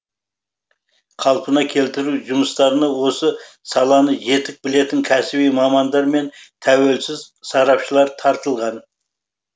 қалпына келтіру жұмыстарына осы саланы жетік білетін кәсіби мамандар мен тәуелсіз сарапшылар тартылған